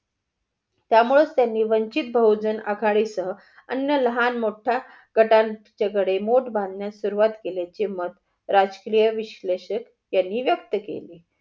त्यामुळंच त्यांनी वंचित बहुजण आघाडी सह अन्न लहान मोठा गटांच्या कडे मोठं बांधन्यास सुरुवात केल्याची मत राजकीय विश्लेषक यांनी व्यक्त केली.